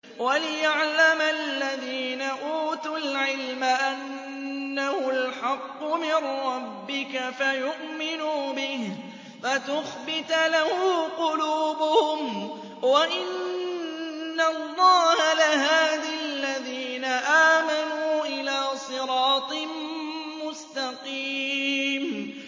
وَلِيَعْلَمَ الَّذِينَ أُوتُوا الْعِلْمَ أَنَّهُ الْحَقُّ مِن رَّبِّكَ فَيُؤْمِنُوا بِهِ فَتُخْبِتَ لَهُ قُلُوبُهُمْ ۗ وَإِنَّ اللَّهَ لَهَادِ الَّذِينَ آمَنُوا إِلَىٰ صِرَاطٍ مُّسْتَقِيمٍ